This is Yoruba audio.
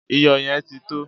Iyò̩ ye̩n ti tó!